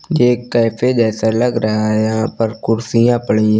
ये कैफे जैसा लग रहा है यहाँ पर कुर्सियाँ पड़ी हैं।